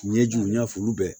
Ɲɛjiw ɲɛfu bɛɛ